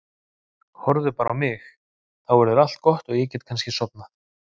Horfðu bara á mig, þá verður allt gott og ég get kannski sofnað.